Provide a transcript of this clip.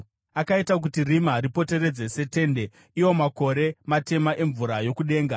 Akaita kuti rima rimupoteredze setende, iwo makore matema emvura yokudenga.